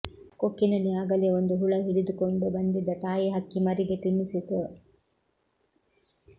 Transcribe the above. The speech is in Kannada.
ಕೊಕ್ಕಿನಲ್ಲಿ ಆಗಲೇ ಒಂದು ಹುಳ ಹಿಡಿದುಕೊಂಡು ಬಂದಿದ್ದ ತಾಯಿ ಹಕ್ಕಿ ಮರಿಗೆ ತಿನ್ನಿಸಿತು